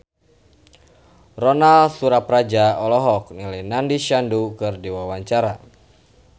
Ronal Surapradja olohok ningali Nandish Sandhu keur diwawancara